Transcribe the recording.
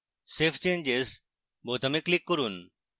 save changes বোতামে click করুন